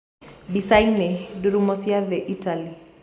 Mbica-ini: Ndururumo cia thii Italia.